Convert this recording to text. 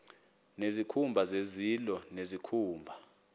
nezikhumba zezilo nezikhumba